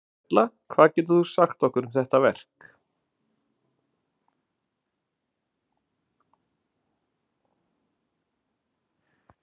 Erla hvað getur þú sagt okkur um þetta verk?